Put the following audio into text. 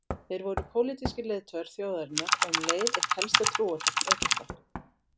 Þeir voru pólitískir leiðtogar þjóðarinnar og um leið eitt helsta trúartákn Egypta.